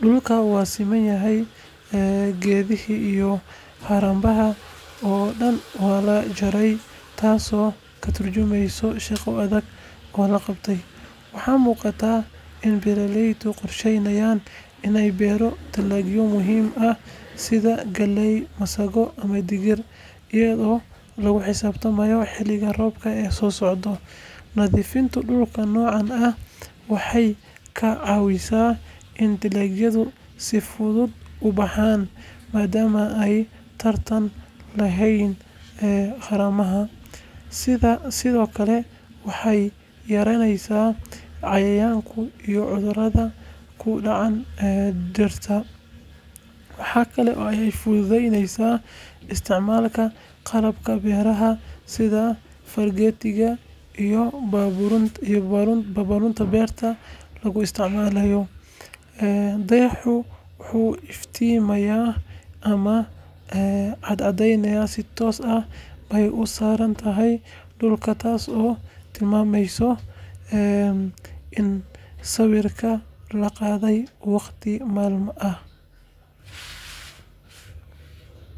dulka wasemanayahay keethaha iyo harabaha walajaray taaso katurjumeeysoh shaqoo adega lo qabatay waxa muqata ini beeraleyda qorsheeynayan inay beeroh talagyo muhom aah setha kaleey wasaqo amah digir Lagaxisabtamayo xeelika roobka ee sosocdoh nathefenta noca dulka ee waxay kacawisah in dalagyado si futhut u baxaan madam ay tartan laheen ee qarama sethoali calamada kidaca dirta waxay Kali oo futhutheyneysah isticmalka qalabka beeraha setha feelketha iyo babaronta beerta lagu isticmalayo deyaxoobwaxu iftimaya amah cadacdeynaya si toos ay u sarantahay taaso timirta ee sawirka laqa that waqdi malama aah.